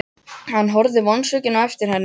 Hann horfði vonsvikinn á eftir henni.